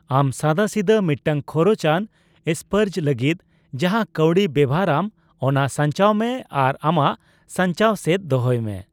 ᱟᱢ ᱥᱟᱫᱟᱥᱤᱫᱟᱹ ᱢᱤᱫᱴᱟᱝ ᱠᱷᱚᱨᱚᱪ ᱟᱱ ᱥᱯᱟᱨᱡ ᱞᱟᱹᱜᱤᱫ ᱡᱟᱦᱟᱸ ᱠᱟᱣᱰᱤ ᱵᱮᱣᱦᱟᱨ ᱟᱢ, ᱚᱱᱟ ᱥᱟᱧᱪᱟᱣ ᱢᱮ ᱟᱨ ᱟᱢᱟᱜ ᱥᱟᱧᱪᱟᱣ ᱥᱮᱫ ᱫᱚᱦᱚᱭ ᱢᱮ ᱾